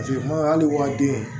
hali wa den